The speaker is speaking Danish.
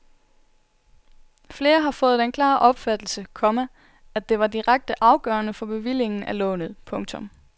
Flere har fået den klare opfattelse, komma at det var direkte afgørende for bevillingen af lånet. punktum